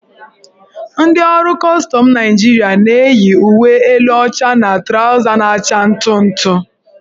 Ndị ọrụ kọstọm Naịjirịa na-eyi uwe elu ọcha na trawza na-acha ntụ ntụ.